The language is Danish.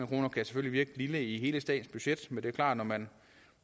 kroner kan selvfølgelig virke i hele statens budget men det er klart at når man